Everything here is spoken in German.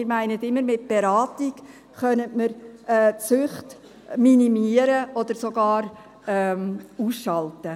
Wir meinen immer, mit Beratung könnten wir Süchte minimieren oder sogar ausschalten.